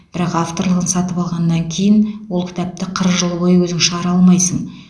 бірақ авторлығын сатып алғаннан кейін ол кітапты қырық жыл бойы өзің шығара алмайсың